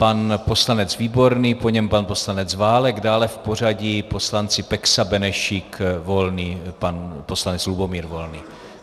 Pan poslanec Výborný, po něm pan poslanec Válek, dále v pořadí poslanci Peksa, Benešík, Volný - pan poslanec Lubomír Volný.